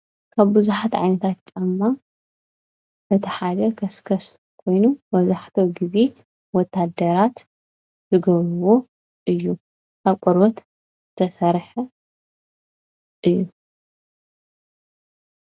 ካብ ብዙሓት ዓይነታት ጫማ እቲ ሓደ ከስከስ እዩ:: መብዛሕትኡ ግዜ ወተሃደራት ዝገብርዎ እዩ:: ካብ ቆርበት ዝተሰርሐ እዩ።